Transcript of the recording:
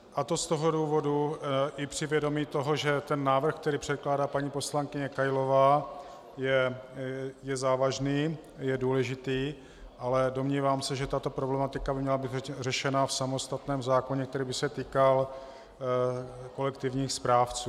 A to z toho důvodu - i při vědomí toho, že ten návrh, který předkládá paní poslankyně Kailová, je závažný, je důležitý, ale domnívám se, že tato problematika by měla být řešena v samostatném zákoně, který by se týkal kolektivních správců.